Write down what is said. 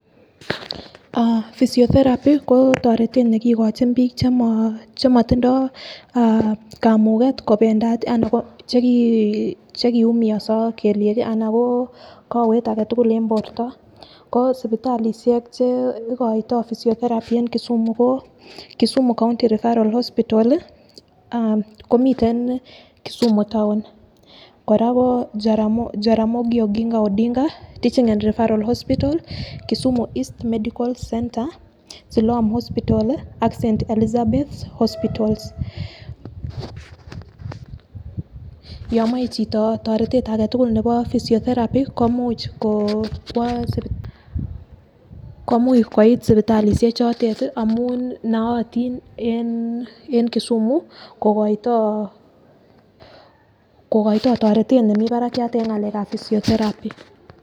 Ah physiotherapy ko toretet nekikochin bik chemo chemotindo ah kamuget kopendat anan cheki chekiumioso kelyek anan ko kowet agetukul en borto. Ko sipitalishek chekiito physiotherapy en [ca]kisumu Kisumu county referral hospital lii ah komiten Kisumu Town ,koraaa ko [cd]Jaramongi okinga Odinga teaching en referral hospital Kisumu east medical center Siloam hospital ak st. Elizabeth hospital .yon moi chito toretet aketukul nebo physiotherapy komuch ko kwo sipit komuch koit sipitalishek chotet tii amun nootin en kisumu kokoito toretet nemii barakiat en ngalekab physiotherapy.